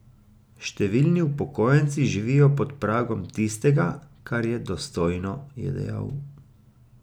Številni upokojenci živijo pod pragom tistega, kar je dostojno, je dejal.